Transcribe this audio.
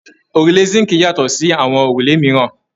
Òrùlé síǹkì yàtọ̀ sí àwọn òrùlé mìíràn.